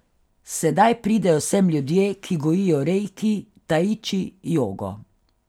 Sedaj pridejo sem ljudje, ki gojijo reiki, taiči, jogo.